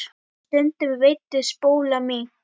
Og stundum veiddi Spóla mink.